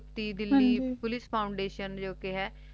ਨਾਵਵੇ ਹਨ ਜੀ Ooty Delhi POLICE foundation ਜੋ ਕ ਹੈ